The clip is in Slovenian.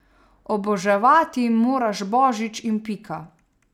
Oboževati moraš božič in pika.